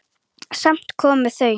Samt komu þau.